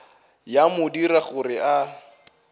ya mo dira gore a